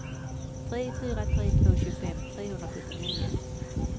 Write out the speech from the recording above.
tre fyra tre två tjugofem trehundrasjuttionio